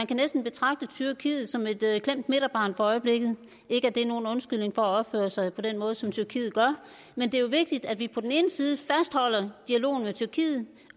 kan næsten betragte tyrkiet som et klemt midterbarn for øjeblikket ikke at det er nogen undskyldning for at opføre sig på den måde som tyrkiet gør men det er vigtigt at vi på den ene side fastholder dialogen med tyrkiet